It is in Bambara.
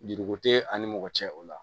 Juruko tɛ ani mɔgɔ cɛ o la